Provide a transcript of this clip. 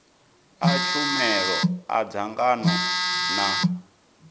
a tshumelo a dzangano na